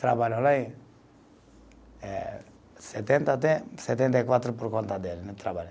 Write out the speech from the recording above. Trabalho lá e eh, setenta até setenta e quatro por conta dele, né, trabalhei.